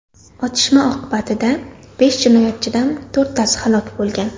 Otishma oqibatida besh jinoyatchidan to‘rttasi halok bo‘lgan.